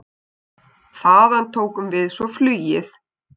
Þaðan tókum við svo flugið.